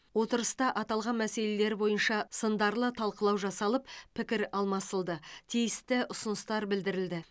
отырыста аталған мәселелер бойынша сындарлы талқылау жасалып пікір алмасылды тиісті ұсыныстар білдірілді